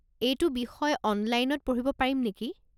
এইটো বিষয় অনলাইনত পঢ়িব পাৰিম নেকি?